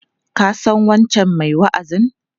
Ka san wancan mai wa'azin?